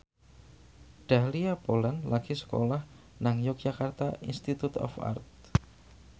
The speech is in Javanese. Dahlia Poland lagi sekolah nang Yogyakarta Institute of Art